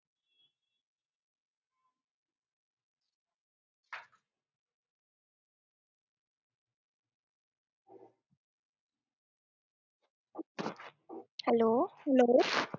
Hello